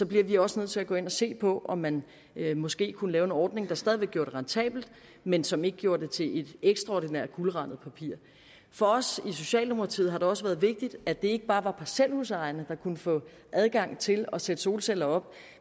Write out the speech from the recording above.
bliver vi også nødt til at gå ind og se på om man måske kunne lave en ordning der stadig væk gjorde det rentabelt men som ikke gjorde det til et ekstraordinært guldrandet papir for os i socialdemokratiet har det også været vigtigt at det ikke bare var parcelhusejerne der kunne få adgang til at sætte solceller op